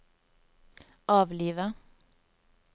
avlive